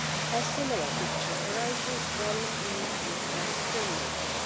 A similar picture arises when we look at film making.